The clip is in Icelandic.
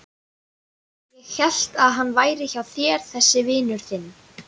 Ég hélt að hann væri hjá þér þessi vinur þinn.